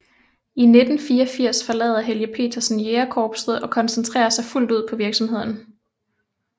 I 1984 forlader Helge Petersen Jægerkorpset og koncentrerer sig fuldt ud på virksomheden